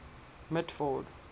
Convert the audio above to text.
mitford